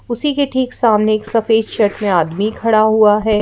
उसी के ठीक सामने एक सफेद शर्ट में आदमी खड़ा हुआ है ।